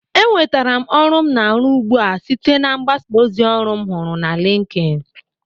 Enwetere m ọrụ m na-arụ ugbu a site na mgbasa ozi ọrụ m huru n'Linkin